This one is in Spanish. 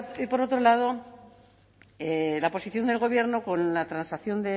y por otro lado la posición del gobierno con la transacción